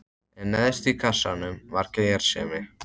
En neðst í kassanum var gersemin.